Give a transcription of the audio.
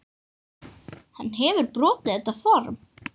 Hann hefur brotið þetta form.